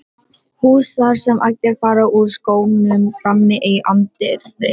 hús þar sem allir fara úr skónum frammi í anddyri.